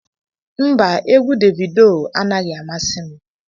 Mba, égwu Davidoo anaghị amasi m